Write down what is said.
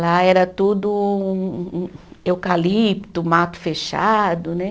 Lá era tudo hum, eucalipto, mato fechado, né?